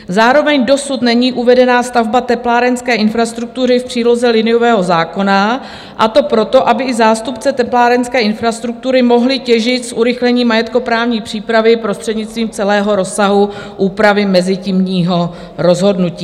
Zároveň dosud není uvedená stavba teplárenské infrastruktury v příloze liniového zákona, a to proto, aby i zástupci teplárenské infrastruktury mohli těžit z urychlení majetkoprávní přípravy prostřednictvím celého rozsahu úpravy mezitímního rozhodnutí.